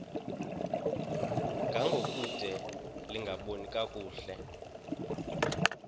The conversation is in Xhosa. ngangokude lingaboni kakuhle